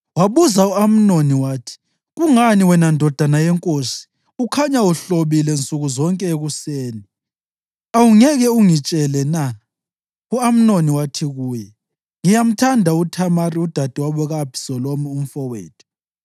Wabuza u-Amnoni wathi, “Kungani wena, ndodana yenkosi, ukhanya uhlobile nsuku zonke ekuseni? Awungeke ungitshele na?” U-Amnoni wathi kuye, “Ngiyamthanda uThamari, udadewabo ka-Abhisalomu umfowethu.”